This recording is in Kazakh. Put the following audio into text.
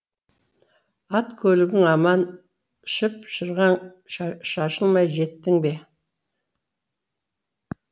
ат көлігің аман шып шырғаң шашылмай жеттің бе